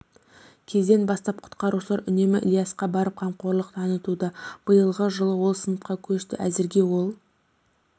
кезден бастап құтқарушылар үнемі ильисқа барып қамқорлық танытуда биылғы дылы ол сыныпқа көшті әзірге ол